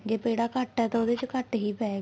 ਜੇ ਪੇੜਾ ਘੱਟ ਏ ਤਾਂ ਉਹਦੇ ਚ ਘੱਟ ਹੀ ਪਾਏਗਾ